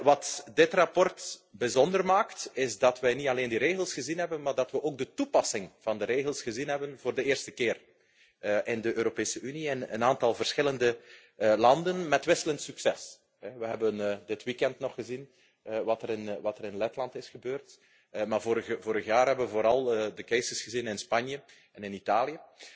Wat dit verslag bijzonder maakt, is dat wij niet alleen de regels gezien hebben, maar dat we ook de toepassing van de regels gezien hebben, voor de eerste keer in de Europese Unie en een aantal verschillende landen, met wisselend succes. We hebben dit weekend nog gezien wat er in Letland is gebeurd, maar vorig jaar hebben we vooral de cases gezien in Spanje en